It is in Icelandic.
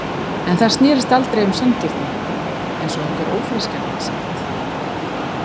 En það snerist aldrei um sanngirni, eins og einhver ófreskjan hafði sagt.